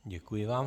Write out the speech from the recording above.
Děkuji vám.